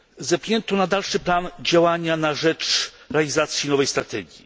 Zepchnięto na dalszy plan działania na rzecz realizacji nowej strategii.